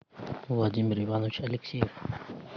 владимир иванович алексеев